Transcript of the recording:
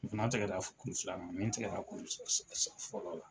Fana tɛgɛ kuru filananin na min tɛgɛ la kuru fɔl la.